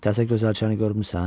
Təzə gözəlçəni görmüsən?